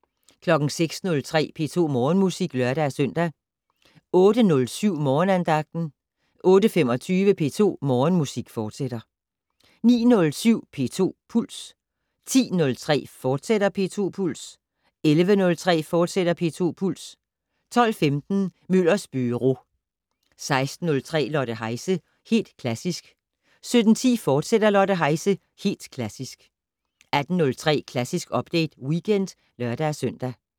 06:03: P2 Morgenmusik (lør-søn) 08:07: Morgenandagten 08:25: P2 Morgenmusik, fortsat 09:07: P2 Puls 10:03: P2 Puls, fortsat 11:03: P2 Puls, fortsat 12:15: Møllers Byro 16:03: Lotte Heise - Helt Klassisk 17:10: Lotte Heise - Helt Klassisk, fortsat 18:03: Klassisk Update Weekend (lør-søn)